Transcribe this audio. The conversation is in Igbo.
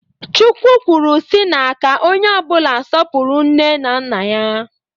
Chukwu kwuru si na ka onye ọbụla sọpụrụ nne na nna ya.